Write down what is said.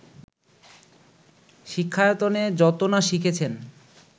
শিক্ষায়তনে যত না শিখেছেন